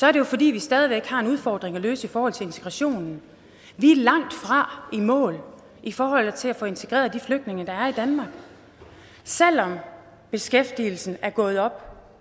er det jo fordi vi stadig væk har en udfordring at løse i forhold til integrationen vi er langtfra i mål i forhold til at få integreret de flygtninge der er i danmark selv om beskæftigelsen er gået op